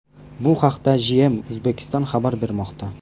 Bu haqda GM Uzbekistan xabar bermoqda .